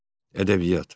Ədəbiyyat.